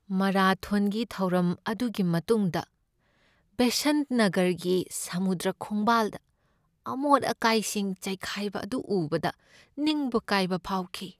ꯃꯥꯔꯥꯊꯣꯟꯒꯤ ꯊꯧꯔꯝ ꯑꯗꯨꯒꯤ ꯃꯇꯨꯡꯗ ꯕꯦꯁꯟꯠ ꯅꯒꯔꯒꯤ ꯁꯃꯨꯗ꯭ꯔ ꯈꯣꯡꯕꯥꯜꯗ ꯑꯃꯣꯠ ꯑꯀꯥꯏꯁꯤꯡ ꯆꯥꯏꯈꯥꯏꯕ ꯑꯗꯨ ꯎꯕꯗ ꯅꯤꯡꯕ ꯀꯥꯏꯕ ꯐꯥꯎꯈꯤ꯫